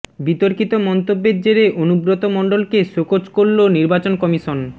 বিতর্কিত মন্তব্যের জেরে অনুব্রত মণ্ডলকে শোকজ করল নির্বাচন কমিশন